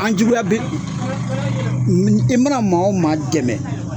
An juguya bɛ u i mana maa o maa dɛmɛ.